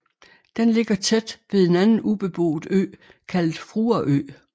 Den ligger tæt ved en anden ubeboet ø kaldet Fruerø